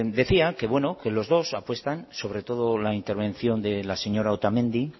bueno decía que los dos apuestan sobre todo la intervención de la señora otamendi